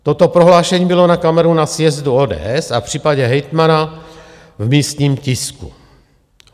Toto prohlášení bylo na kameru na sjezdu ODS a v případě hejtmana v místním tisku.